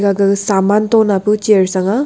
ga ga saman toh napu chair cha aa.